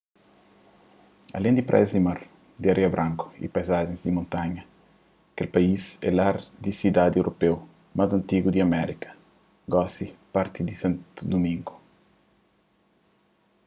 alén di praias di mar di areia branku y paizajens di montanha kel país é lar di sidadi europeu más antigu di amérika gosi parti di santo dumingo